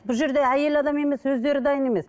бұл жерде әйел адам емес өздері дайын емес